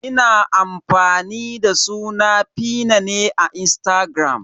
Ina amfani da suna 'feena" ne a Instagram.